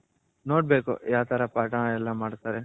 ನೋಡ್ಬೇಕು ಯಾವ್ ತರ ಪಾಠ ಎಲ್ಲಾ ಮಾಡ್ತಾರೆ.